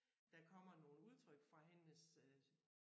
Der kommer nogle udtryk fra hendes øh